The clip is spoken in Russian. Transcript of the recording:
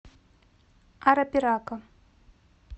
арапирака